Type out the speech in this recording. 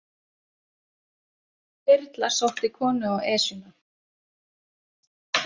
Þyrla sótti konu á Esjuna